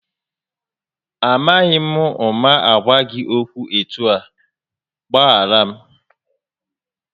Amaghị m ụma gwa gị okwu etu ahụ, gbaghara m